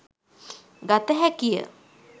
ගත හැකිය.